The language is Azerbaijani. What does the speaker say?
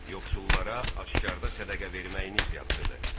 Yoxsullara aşkarda sədəqə verməyiniz yaxşıdır.